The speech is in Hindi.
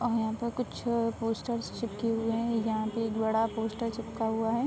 और यहाँ पर कुछ पोस्टर चिपके हुए हैं। यहाँ पर एक बड़ा पोस्टर चिपका हुआ है।